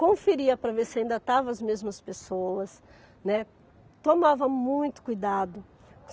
conferia para ver se ainda estavam as mesmas pessoas, né, tomava muito cuidado.